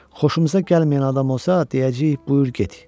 Xoşumuza gəlməyən adam olsa deyəcəyik buyur get.